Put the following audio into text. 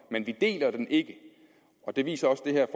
men vi deler den ikke og det viser det her